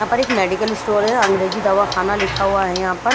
यहां पर एक मेडिकल स्टोर है अंग्रेजी दवाखाना लिखा हुआ है यहां पर--